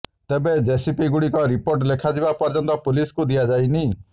ତେବେ ଜେସିବି ଗୁଡ଼ିକୁ ରିପୋର୍ଟ ଲେଖାଯିବା ପର୍ୟ୍ୟନ୍ତ ପୁଲିସକୁ ଦିଆଯାଇନି